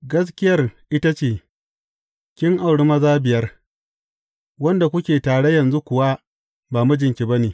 Gaskiyar ita ce, kin auri maza biyar, wanda kuke tare yanzu kuwa ba mijinki ba ne.